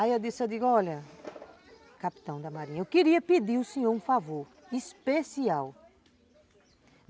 Aí eu disse, eu digo, olha, capitão da marinha, eu queria pedir o senhor um favor especial.